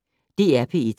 DR P1